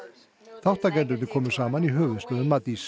þátttakendur komu saman í höfuðstöðvum Matís